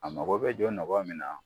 A mago bɛ jɔ nɔgɔ min na